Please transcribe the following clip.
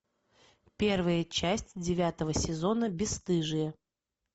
первая часть девятого сезона бесстыжие